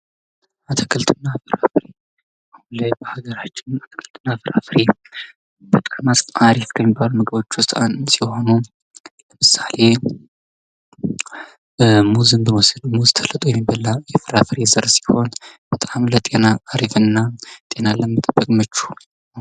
አትክልትና ፍራፍሬ በሀገራችን አትክልትና ፍራፍሬ በጣም አሪፍ ከሚባሉ ምግቦች ውስጥ አንዱ ሲሆን ለምሳሌ ሙዝ ብንወስድ ተልጦ የሚበላ የፍራፍሬ ዘር ሲሆን በጣም ለጤና አሪፍና ጤናን ለመጠበቅ ምቹ ነው ።